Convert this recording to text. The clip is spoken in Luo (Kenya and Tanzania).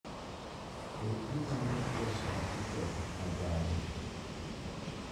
Be inyalo losona tiket ma gari